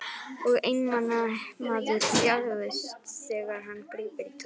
Og einmana maður þjáist þegar hann grípur í tómt.